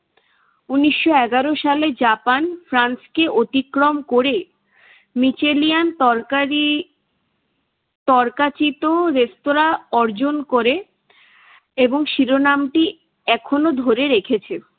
উনিশশো এগারো সালে জাপান ফ্রান্সকে অতিক্রম করে মিচেলিয়ান তরকারি তর্কাচীত রেস্তোরাঁ অর্জন করে এবং শিরোনামটি এখনো ধরে রেখেছে।